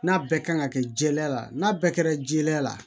N'a bɛɛ kan ka kɛ jɛya la n'a bɛɛ kɛra jɛlenya la